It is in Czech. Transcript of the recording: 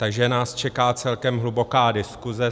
Takže nás čeká celkem hluboká diskuse.